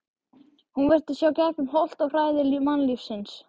Hún virtist sjá gegnum holt og hæðir mannlífsins.